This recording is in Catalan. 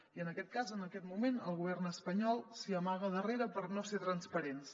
i en aquest cas en aquest moment el govern espanyol s’hi amaga darrere per no ser transparents